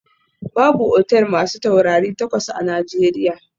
Babu otal masu taurari takwas a Najeriya